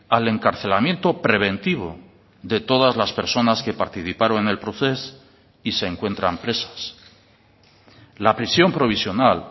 al encarcelamiento preventivo de todas las personas que participaron en el procés y se encuentran presas la prisión provisional